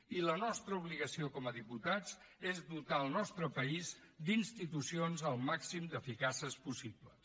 i la nostra obligació com a diputats és dotar el nostre país d’institucions el màxim d’eficaces possible